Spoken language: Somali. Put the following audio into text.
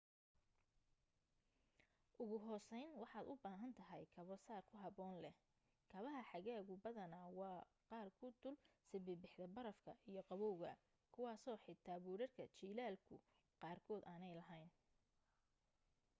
ugu hooseyn waxaad u baahan tahay kabo sar ku habboon leh kabaha xagaagu badanaa waa qaar ku dul sibibixda barafka iyo qabawga kuwaaso xitaa buudhadhka jiilaalku qaarkood aanay lahayn